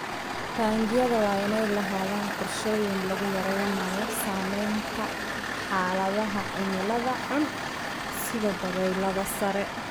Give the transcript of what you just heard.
Taangiyada waa inay lahaadaan qorshooyin lagu yareynayo saamaynta xaaladaha cimilada xun sida dabaylaha sare.